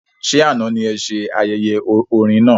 Ṣe àna ní ése ayẹyẹ orin náà?